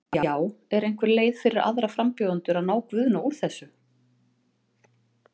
Já, er einhver leið fyrir aðra frambjóðendur að ná Guðna úr þessu?